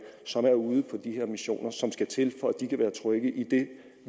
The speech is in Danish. som er ude på de her missioner og som skal til for at de kan være trygge i